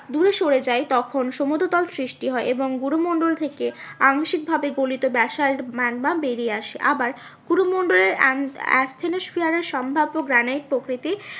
দূরে সরে যায় তখন সমুদ্র তল সৃষ্টি হয় এবং গুরু মন্ডল থেকে আংশিক ভাবে গলিত ব্যাসল্ট ম্যাগমা বেরিয়ে আসে। আবার গুরু মন্ডলের সম্ভাব্য গ্রানাইট প্রকৃতি